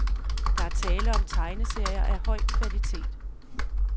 Der er tale om tegneserier af høj kvalitet.